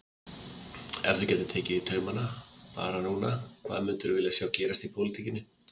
Ef þú gætir tekið í taumana bara núna hvað myndirðu vilja sjá gerast í pólitíkinni?